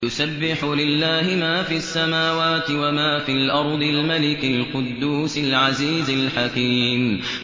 يُسَبِّحُ لِلَّهِ مَا فِي السَّمَاوَاتِ وَمَا فِي الْأَرْضِ الْمَلِكِ الْقُدُّوسِ الْعَزِيزِ الْحَكِيمِ